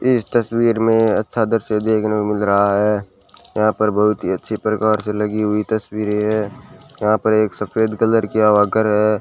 इस तस्वीर में अच्छा दृश्य देखने को मिल रहा है यहां पर बहुत ही अच्छी प्रकार से लगी हुई तस्वीरें हैं यहां पे एक सफेद कलर किया वॉकर है।